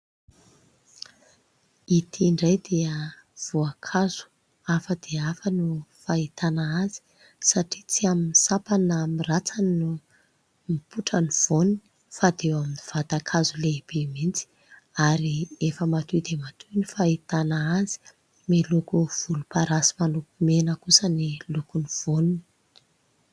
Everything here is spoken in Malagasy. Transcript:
Ity indray dia voankazo hafa dia hafa ny fahitana azy satria tsy amin'ny sampany na amin'ny rantsany no mipotra ny voany fa dia eo amin'ny vatankazo lehibe mihitsy, ary efa matoy dia matoy ny fahitana azy. Miloko volomparasy manopy mena kosa ny lokon'ny voany.